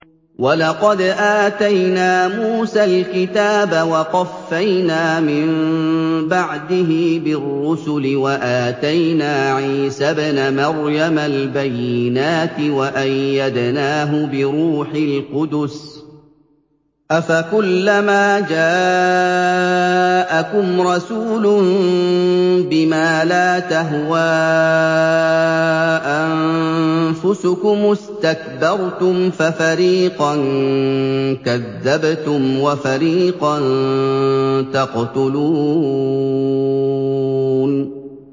وَلَقَدْ آتَيْنَا مُوسَى الْكِتَابَ وَقَفَّيْنَا مِن بَعْدِهِ بِالرُّسُلِ ۖ وَآتَيْنَا عِيسَى ابْنَ مَرْيَمَ الْبَيِّنَاتِ وَأَيَّدْنَاهُ بِرُوحِ الْقُدُسِ ۗ أَفَكُلَّمَا جَاءَكُمْ رَسُولٌ بِمَا لَا تَهْوَىٰ أَنفُسُكُمُ اسْتَكْبَرْتُمْ فَفَرِيقًا كَذَّبْتُمْ وَفَرِيقًا تَقْتُلُونَ